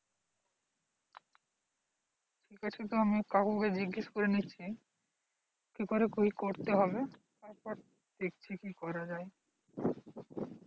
ঠিক আছে তবে আমি কাকু কে জিজ্ঞাসা করে নিচ্ছি কি করে কি করতে হবে তারপর দেখছি কি করা যায়।